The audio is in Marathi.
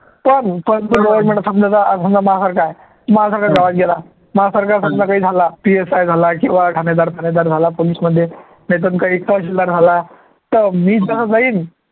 पण पण एक minutes थांब जरा आज समजा माझ्यासारखा आहे माझ्यासारखा गेला माझ्यासारखा झाला माझ्यासारखा PSI झाला किंवा ठाणेदार ठाणेदार झाला police मध्ये राहला तर मी तर जाईन